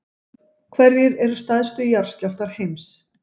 hverjir eru stærstu jarðskjálftar heims